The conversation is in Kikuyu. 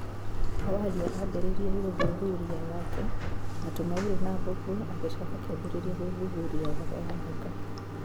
Awalia aambĩrĩirie gũthuthuria wake na tũng'aurũ na mbũmbũĩ agĩcoka akĩambĩrĩria gũthuthuria ũhoro wa nyoka.